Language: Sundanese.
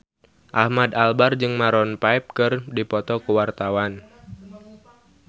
Ahmad Albar jeung Maroon 5 keur dipoto ku wartawan